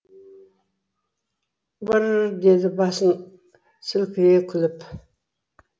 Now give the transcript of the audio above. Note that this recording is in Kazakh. брр деді басын сілкілей күліп